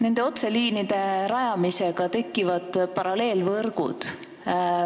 Nende otseliinide rajamisega tekivad paralleelvõrgud.